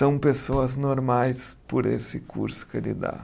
São pessoas normais por esse curso que ele dá.